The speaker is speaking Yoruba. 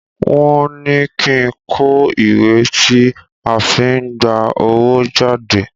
Wọ́n ní kí n kọ ìwé tí a fi n gba owó jade.